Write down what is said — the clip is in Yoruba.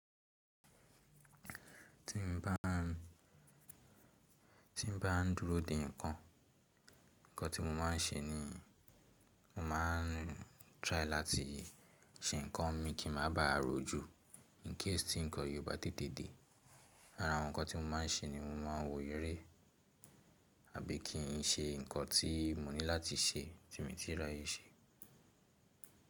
Tí n bá, tí n bá dúró dè ǹkan, nǹkan tí mo máa n ṣe ni, mo ma n try láti ṣe nǹkan mi kí n má bàà ro ju. In case tí nǹkan yí o bá tètè dè. Ara àwọn nǹkan tí mo máa n ṣe ni mo ma n wo eré àbí kí n ṣe nǹkan tí mo ní láti ṣe tì mí tí rà yé ṣe.